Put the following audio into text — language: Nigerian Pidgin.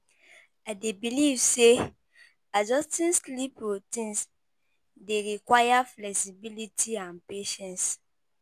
I dey believe say adjusting sleep routines dey require flexibility and patience.